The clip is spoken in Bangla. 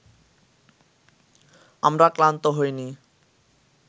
আমরা ক্লান্ত হইনি